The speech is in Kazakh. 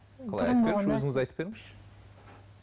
өзіңіз айтып беріңізші